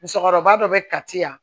Musokɔrɔba dɔ bɛ ka ci yan